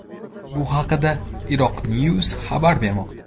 Bu haqda IraqiNews xabar bermoqda .